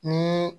Ni